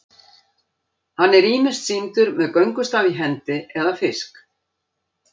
Hann er ýmist sýndur með göngustaf í hendi eða fisk.